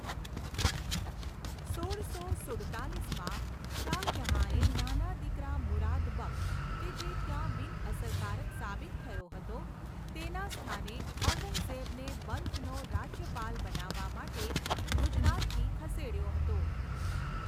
સોળસો સુડતાલીસમાં, શાહ જહાંએ, નાના દીકરા મુરાદ બક્શ, કે જે ત્યાં બિનઅસરકારક સાબિત થયો હતો, તેના સ્થાને ઔરંગઝેબને બલ્ખનો રાજ્યપાલ બનાવવા માટે ગુજરાતથી ખસેડ્યો હતો.